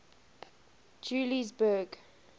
juliesburg